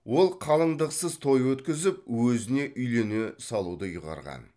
ол қалыңдықсыз той өткізіп өзіне үйлене салуды ұйғарған